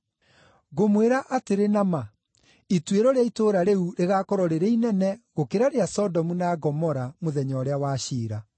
Ngũmwĩra atĩrĩ na ma ituĩro rĩa itũũra rĩu rĩgaakorwo rĩrĩ inene gũkĩra rĩa Sodomu na Gomora mũthenya ũrĩa wa ciira.